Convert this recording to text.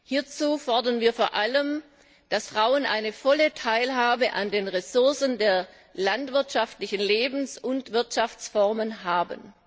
Hierzu fordern wir vor allem, dass Frauen eine volle Teilhabe an den Ressourcen der landwirtschaftlichen Lebens und Wirtschaftsformen haben.